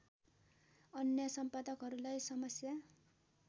अन्य सम्पादकहरूलाई समस्या